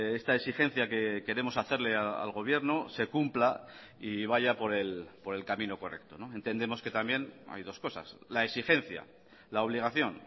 esta exigencia que queremos hacerle al gobierno se cumpla y vaya por el camino correcto entendemos que también hay dos cosas la exigencia la obligación